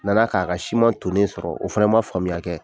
Na na k'a ka siman tonnen sɔrɔ o fɛnɛ man faamuya kɛ.